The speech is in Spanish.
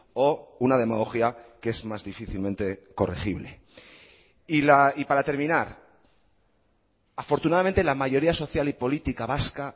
o una demagogia que es más difícilmente corregible y para terminar afortunadamente la mayoría social y política vasca